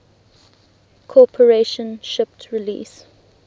corporation shipped release